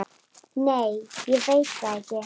Nei ég veit það ekki.